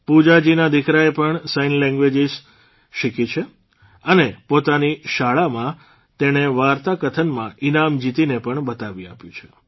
પૂજાજીના દીકરાએ પણ sign language શીખી અને પોતાની શાળામાં તેણે વાર્તાકથનમાં ઇનામ જીતીને પણ બતાવી આપ્યું છે